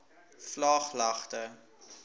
vlaaglagte